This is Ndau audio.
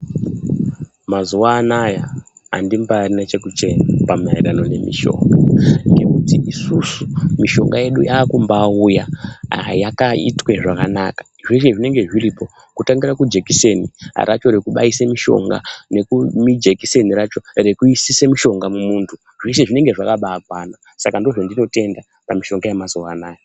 Mazuwa anaya andimbarina chekuchema pamaererano nemishonga ngekuti isusu mishonga yedu yakumbauya yakaitwe zvakanaka. Zveshe zvinenge zviripo, kutangira kujikiseni racho rekubaise mishonga nekujikiseni racho rekuisise mushonga mumuntu zvese zvinenge zvakabakwana. Saka ndozvandinotenda pamishonga yemazuwa anaya.